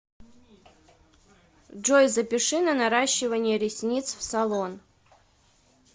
джой запиши на наращивание ресниц в салон